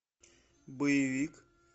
боевик